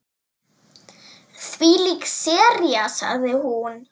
Þvílík sería sagði hún.